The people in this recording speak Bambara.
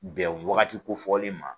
Bɛn wagati kofɔlen ma.